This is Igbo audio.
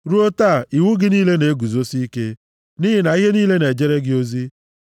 Ruo taa, iwu gị niile na-eguzosi ike, nʼihi na ihe niile na-ejere gị ozi.